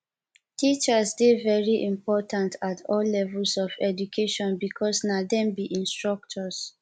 teachers dey very important at all levels of education because na dem be instructors